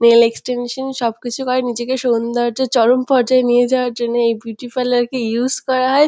Nail extension সবকিছু করে নিজেকে সৌন্দর্যর চরম পর্যায়ে নিয়ে যাওয়ার জন্যে এই বিউটি পার্লার -কে ইউস করা হয়।